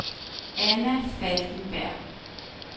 Ana Falkenberg